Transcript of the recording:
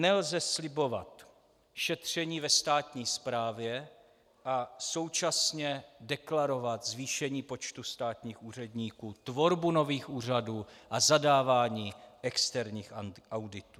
Nelze slibovat šetření ve státní správě a současně deklarovat zvýšení počtu státních úředníků, tvorbu nových úřadů a zadávání externích auditů.